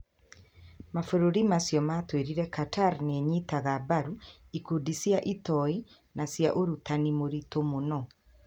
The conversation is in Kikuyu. Mabũrũri macio matuĩrĩirĩ Qatar nĩ ĩnyitaga mbaru ikundi cia itoi na cia ũrutani mũritũ mũno.